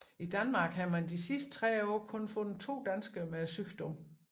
I Danmark har man i de sidste 30 år kun fundet to danskere med sygdommen